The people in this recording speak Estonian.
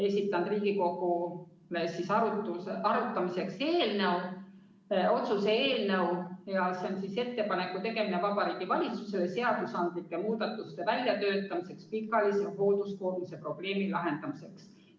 – esitanud Riigikogule arutamiseks otsuse eelnõu, et teha Vabariigi Valitsusele ettepanek töötada välja seadusandlikud muudatused pikaajalise hoolduskoormuse probleemi lahendamiseks.